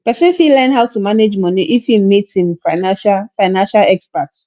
person fit learn how to manage money if im meet financial financial expert